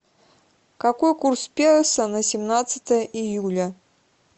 какой курс песо на семнадцатое июля